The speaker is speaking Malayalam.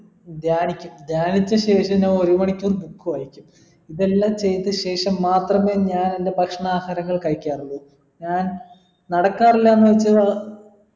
ധ്യാനിക്കും ധ്യാനിച്ച ശേഷം ഞാൻ ഒരു മണിക്കൂർ book വായിക്കും ഇതെല്ലാം ചെയ്‌ത ശേഷം മാത്രമേ ഞാൻ എൻ്റെ ഭക്ഷണാഹാരങ്ങൾ കഴിക്കാറുള്ളു ഞാൻ നടക്കാറില്ലാന്ന് വെച്ച് അഹ്